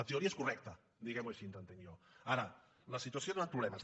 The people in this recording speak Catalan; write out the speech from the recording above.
la teoria és correcta diguem ho així entenc jo ara la situació ha donat problemes